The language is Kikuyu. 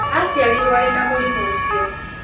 Aciarirũo arĩ na mũrimũ ũcio.